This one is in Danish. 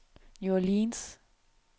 New Orleans